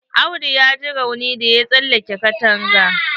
Audu ya ji rauni da ya tsallake katanga.